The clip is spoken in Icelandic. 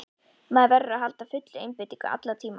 Maður verður að halda fullri einbeitingu allan tímann.